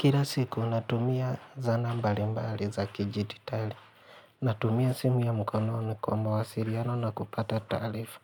Kila siku natumia zana mbali mbali za kidijititali. Natumia simu ya mkononi kwa mawasiliano na kupata taarifa.